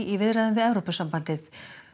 í viðræðum við Evrópusambandið